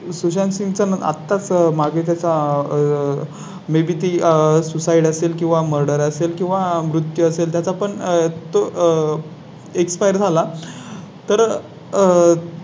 तेव्हाच अ जी अ आपल्या मुघल सलतनतने आपल्या स्वराज्यांवर वाकडी नजर टाकू लागले. त्यामुळे जींजी हा एक असा किल्ला ठरला